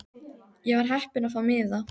Ég var heppin að fá miða.